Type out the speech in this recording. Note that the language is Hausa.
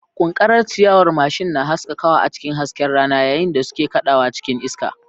Ƙunƙarar ciyawar mashin na haskakawa a cikin hasken rana yayin da suke kaɗawa cikin iska.